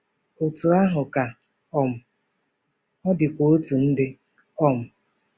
Otú ahụ ka um ọ dịkwa otu ndị. um